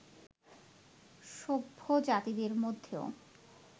সভ্য জাতিদের মধ্যেও